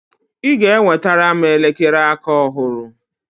ị ga-enwetara m elekere aka ọhụrụ!